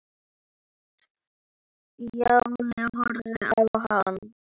Stjáni horfði á hann.